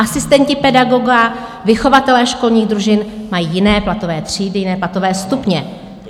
Asistenti pedagoga, vychovatelé školních družin mají jiné platové třídy, jiné platové stupně.